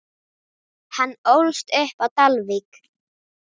Hann ólst upp á Dalvík.